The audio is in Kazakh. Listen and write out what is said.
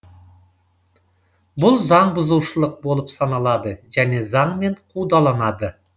бұл заңбұзушылық болып саналады және заңмен қудаланады